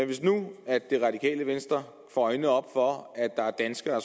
hvis nu det radikale venstre får øjnene op for at der er danskere